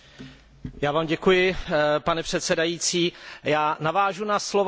Pane předsedající, já navážu na slova zpravodaje Chrise Daviese.